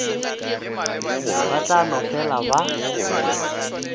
ba tla no fela ba